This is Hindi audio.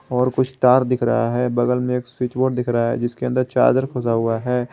और कुछ तार दिख रहा है बगल में एक स्विच बोर्ड लगा हुआ है जिसके अंदर चार्जर खोसा हुआ है।